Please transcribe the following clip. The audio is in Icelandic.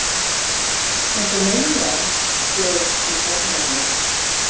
Eins og múmían, flaug í kollinn á mér.